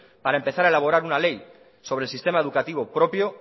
para empezar a elaborar una ley sobre el sistema educativo propio